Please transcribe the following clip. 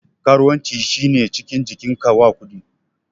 Karuwanci shi ne cinikin jikin ka wa kuɗi.